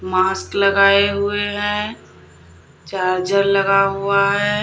Mask लगाए हुए हैं चार्जर लगा हुआ है।